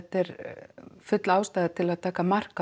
full ástæða til að taka mark á